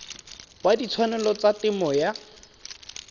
wa ditshwanelo tsa temo ya